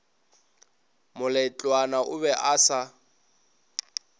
moletlwana o be a se